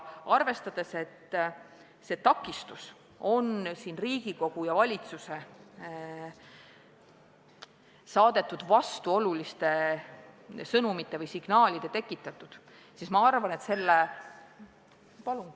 Arvestades, et see takistus on Riigikogu ja valitsuse saadetud vastuoluliste signaalide tekitatud, ma arvan, et selle ...